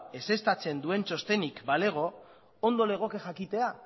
ezeztatzen duen txostenik balego ondo legoke jakitea